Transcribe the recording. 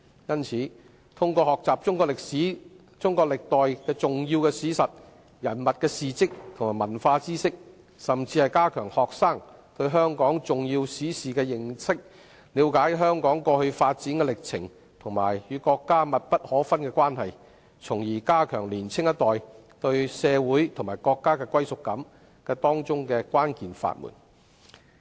因此，通過學習中國歷史、歷代的重要史實、人物事蹟及文化知識，以及加強學生對香港重要史事的認識，使他們了解香港過去發展的歷程及與國家密不可分的關係，從而加強年輕一代對社會及國家的歸屬感，便是當中的關鍵法門。